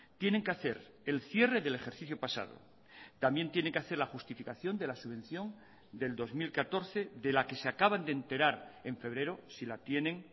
tienen que hacer el cierre del ejercicio pasado también tiene que hacer la justificación de la subvención del dos mil catorce de la que se acaban de enterar en febrero si la tienen